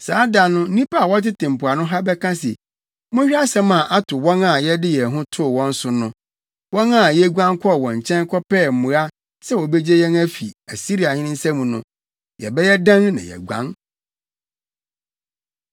Saa da no nnipa a wɔtete mpoano ha bɛka se, ‘Monhwɛ asɛm a ato wɔn a yɛde yɛn ho too wɔn so no, wɔn a yeguan kɔɔ wɔn nkyɛn kɔpɛɛ mmoa sɛ wobegye yɛn afi Asiriahene nsam no! Yɛbɛyɛ dɛn na yɛaguan?’ ”